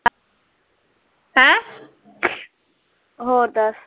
ਹੋਰ ਦੱਸ